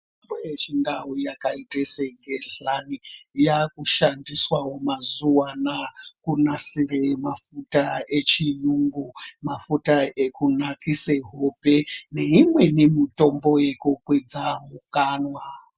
Mitombo yechindau yakaita segehlani yakushandisawo mazuva anaa kunasire mafuta echiyungu. Mafuta ekunakise hope neimweni mitombo yekukwidza mukanwa.